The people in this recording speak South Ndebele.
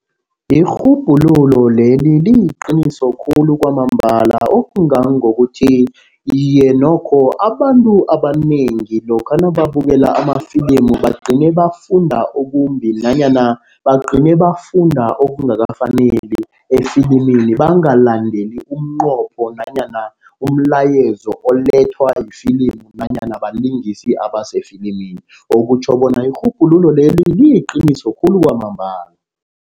Irhubhululo leli liyiqiniso khulu kwamambala. Okungangokuthi, iye nokho abantu abanengi lokha nakabukela amafilimu, bagcine bafunda okumbi nanyana bagcine bafunda okungakafaneli efilimini. Bangalandeli umnqopho nanyana umlayezo olethwa lifilimu nanyana balingisi abasefilimini. Okutjho bona irhubhululo leli liyiqiniso khulu kwamambala.